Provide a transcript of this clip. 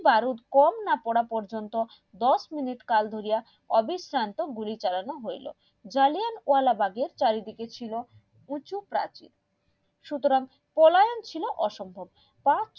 বারুদ কম না পড়া পর্যন্ত দশ মিনিট কাল ধরিয়া অবিস্রান্ত গুলি চালানো হইলো জাল্লিয়ানবালা বাঘের চারি দিকে ছিল প্রচুর প্রাচীর সুতরাং পলায়ন ছিল অসম্ভব